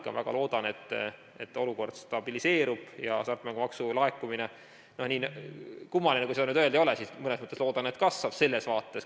Aga ma väga loodan, et olukord stabiliseerub ja hasartmängumaksu laekumine – nii kummaline, kui seda öelda ei ole –, mõnes mõttes ma seda loodan, kasvab selles vaates.